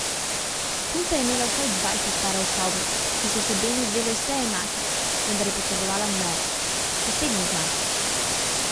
Punca je imela vsaj dvajset parov kavbojk, ki so se Benu zdele vse enake, vendar je potrebovala nove, posebno znamko.